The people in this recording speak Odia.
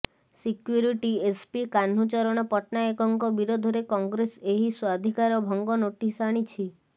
ସିକ୍ୟୁରିଟି ଏସ୍ପି କାହ୍ନୁଚରଣ ପଟ୍ଟନାୟକଙ୍କ ବିରୋଧରେ କଂଗ୍ରେସ ଏହି ସ୍ବାଧିକାର ଭଙ୍ଗ ନୋଟିସ୍ ଆଣିଛି